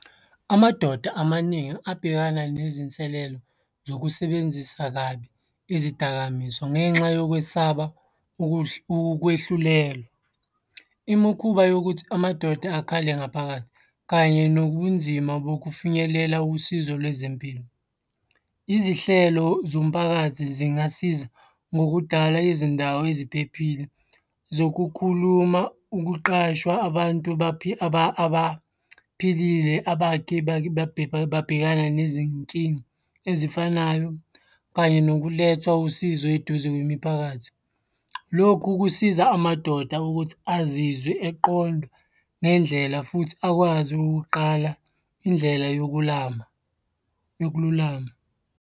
Amadoda amaningi abhekana nezinselelo zokusebenzisa kabi izidakamizwa, ngenxa yokwesaba ukwehlulelwa. Imikhuba yokuthi amadoda akhale ngaphakathi kanye nobunzima bokufinyelela usizo lwezempilo. Izihlelo zomphakathi zingasiza ngokudala izindawo eziphephile zokukhuluma, ukuqashwa abantu abaphilile abake babhekana nezinkinga ezifanayo kanye nokulethwa usizo eduze kwemiphakathi. Lokhu kusiza amadoda ukuthi azizwe eqondwa ngendlela futhi akwazi ukuqala indlela yokulama, yokululama.